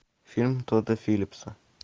фильм тодда филлипса